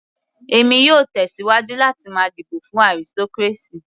Èmi yóò tẹ̀síwájú láti máa dìbò fún aristocracy.